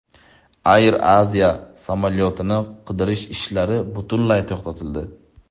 Air Asia samolyotini qidirish ishlari butunlay to‘xtatildi.